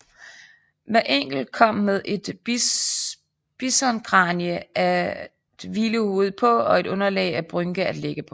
Hver enkelt kom med et bisonkranie at hvile hovedet på og et underlag af bynke at ligge på